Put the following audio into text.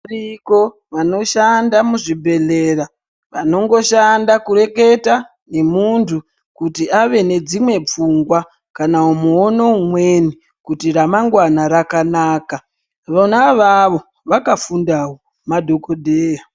Variko vanoshanda muzvibhehlera vanongoshanda kureketa nemuntu kuti ave nedzimwe pfungwa kana muono umweni kuti ramangwana rakanaka. Vona avavo vakafundawo, madhokodheya.